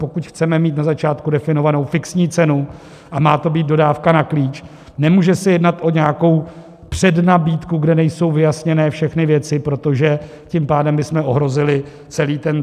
Pokud chceme mít na začátku definovanou fixní cenu a má to být dodávka na klíč, nemůže se jednat o nějakou přednabídku, kde nejsou vyjasněné všechny věci, protože tím pádem bychom ohrozili celý tendr.